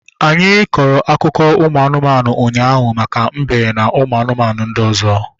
Anyị kọrọ akụkọ ụmụ anụmanụ ụnyaahụ maka mbe na ụmụ anụmanụ ndị ọzọ